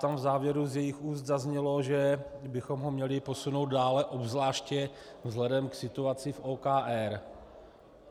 Tam v závěru z jejích úst zaznělo, že bychom ho měli posunout dále, obzvláště vzhledem k situaci v OKD.